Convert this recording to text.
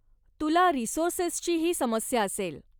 तुला रिसोर्सेसचीही समस्या असेल.